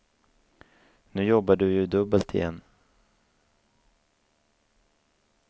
Nu jobbar du ju dubbelt igen.